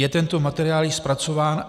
Je tento materiál již zpracován?